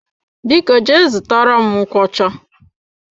Biko jee zụtara m nkwocha.